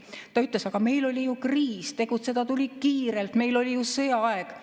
Ta ütles, et aga meil oli ju kriis, tegutseda tuli kiirelt, meil oli ju sõjaaeg.